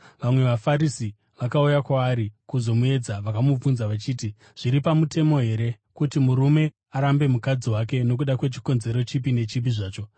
Vamwe vaFarisi vakauya kwaari kuzomuedza. Vakamubvunza vachiti, “Zviri pamutemo here kuti murume arambe mukadzi wake nokuda kwechikonzero chipi nechipi zvacho?”